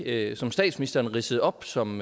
det som statsministeren ridsede op som